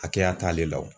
Hakɛya t'ale la o